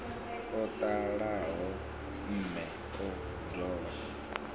o ṱalaho mme o dovha